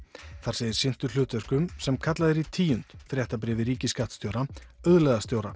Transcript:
þar sem þeir sinntu hlutverkum sem kallað er í tíund fréttabréfi ríkisskattstjóra